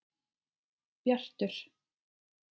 Bjartur